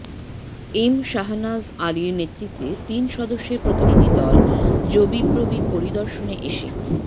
M Shah Nawaz আলির নেতৃত্বে তিন সদস্যের প্রতিনিধি দল যবিপ্রবি পরিদর্শনে এসে